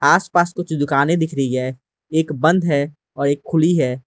आसपास कुछ दुकानें दिख रही है एक बंद है और एक खुली है।